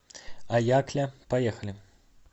аякля поехали